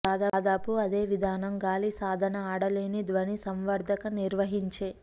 దాదాపు అదే విధానం గాలి సాధన ఆడలేని ధ్వని సంవర్ధక నిర్వహించే